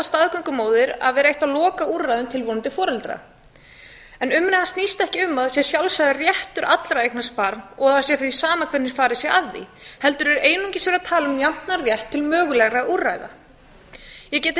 staðgöngumóðir að vera eitt af lokaúrræðum tilvonandi foreldra en umræðan snýst ekki um að það sé sjálfsagður réttur allra að eignast barn og það sé því sama hvernig farið sé að því heldur sé einungis verið að tala um jafnan rétt til mögulegra úrræða ég get ekki